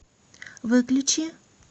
выключи